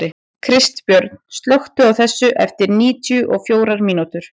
Kristbjörn, slökktu á þessu eftir níutíu og fjórar mínútur.